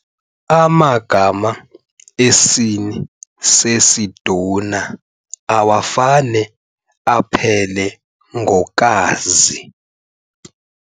Amagama esini sesiduna awafane aphele ngo-kazi.